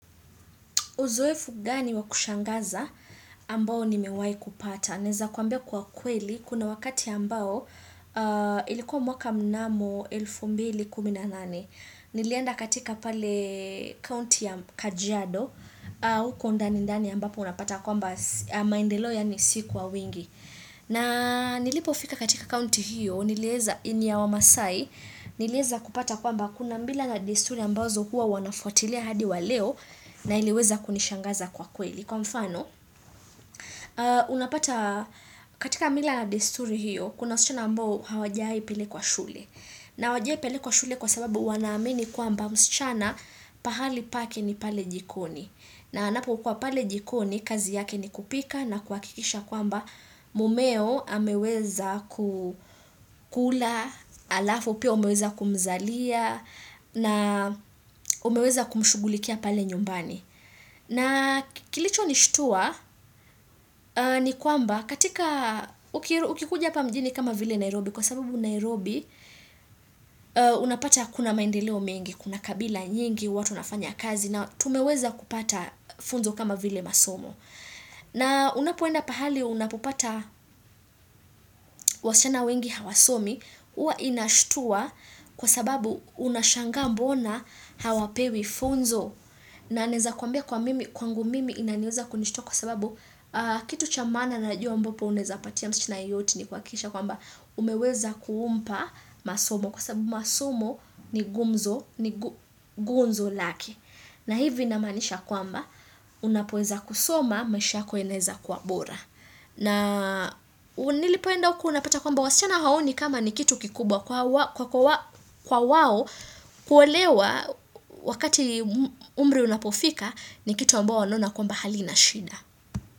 Uzoefu gani wa kushangaza ambao nimewahi kupata? Naeza kwambia kwa kweli, kuna wakati ambao ilikuwa mwaka mnamo 2018. Nilienda katika pale County ya Kajiado, huko ndani ndani ambapo unapata kwamba maendelo yaani si kwa wingi. Na nilipofika katika kaunti hiyo, nilieza, ni ya wamaasai, nilieza kupata kwamba kuna mila na desturi ambazo hua wanafuatilia hadi wa leo na iliweza kunishangaza kwa kweli. Kwa mfano, unapata katika mila na desturi hiyo, kuna wasichana ambao hawajawahi pelekwa shule. Na hawajawahi pelekwa shule kwa sababu wanaamini kwamba msichana pahali pake ni pale jikoni. Na anapokuwa pale jikoni, kazi yake ni kupika na kuhakikisha kwamba mumeo ameweza kukula, halafu pia umeweza kumzalia na umeweza kumshugulikia pale nyumbani. Na kilichonishtua ni kwamba katika, ukikuja hapa mjini kama vile Nairobi, kwa sababu Nairobi unapata kuna maendeleo mengi, kuna kabila nyingi, watu wanafanya kazi na tumeweza kupata funzo kama vile masomo. Na unapoenda pahali unapopata wasichana wengi hawasomi, huwa inashtua kwa sababu unashangaa mbona hawapewi funzo. Na naeza kuambia kwa mimi, kwangu mimi inaniweza kunishitua kwa sababu kitu cha maana najuwa ambapo unaeza patia msichana yoyote ni kuhakikisha kwamba umeweza kumpa masomo. Kwa sababu masomo ni gumzo, ni gunzo lake. Na hivi namaanisha kwamba, unapoweza kusoma, maisha yako yanaeza kuwa bora. Na nilipoenda huku unapata kwamba wasichana haoni kama ni kitu kikubwa kwa wao kuelewa wakati umri unapofika ni kitu ambao wanaona kwamba halina shida.